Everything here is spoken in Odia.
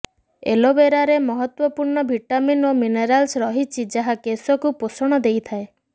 ଏଲୋବେରାରେ ମହତ୍ତ୍ୱପୂର୍ଣ୍ଣ ଭିଟାମିନ ଓ ମିନେରାଲ୍ସ ରହିଛି ଯାହା କେଶକୁ ପୋଷଣ ଦେଇଥାଏ